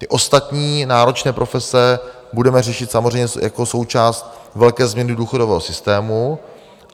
Ty ostatní náročné profese budeme řešit samozřejmě jako součást velké změny důchodového systému.